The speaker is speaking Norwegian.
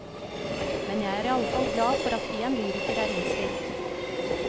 Men jeg er iallfall glad for at en lyriker er innstilt.